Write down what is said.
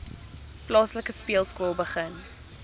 plaaslike speelskool begin